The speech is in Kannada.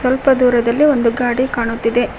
ಸ್ವಲ್ಪ ದೂರದಲ್ಲಿ ಒಂದು ಗಾಡಿ ಕಾಣುತ್ತಿದೆ.